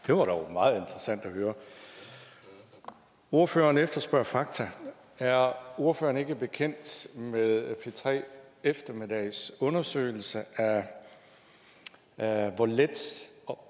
det var dog meget interessant at høre ordføreren efterspørger fakta er ordføreren ikke bekendt med p tre eftermiddags undersøgelse af hvor let